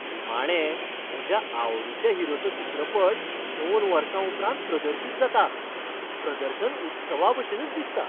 निमाणें म्हज्या आवडीच्या हिरोचो चित्रपट दोन वर्सां उपरांत प्रदर्शीत जाता, प्रदर्शन उत्सवाभशेनच दिसता.